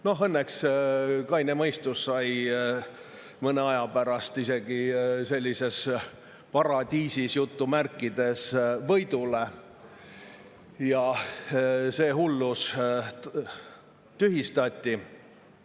Noh, õnneks kaine mõistus mõne aja pärast isegi sellises "paradiisis" võidule ja see hullus tühistati.